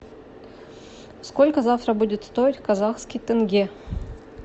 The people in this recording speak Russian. сколько завтра будет стоить казахский тенге